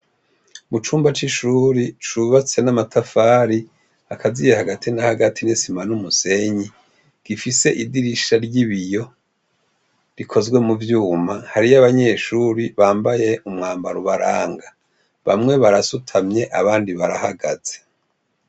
Mu cumba c'ishure cubatse n'amatafari akaziye hagati na hagati n'isima n'umusenyi gifise idirisha ry'ibiyo rikozwe mu vyuma, hriyo abanyeshure bambaye umwambaro ubaranga, bamwe barasutamye abandi barahagaze.